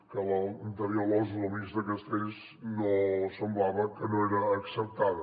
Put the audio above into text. que l’anterior losu del ministre castells semblava que no era acceptada